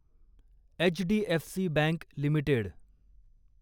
HDFC bank limited